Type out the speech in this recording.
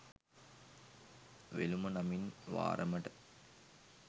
වෙළුම නමින් වාරමට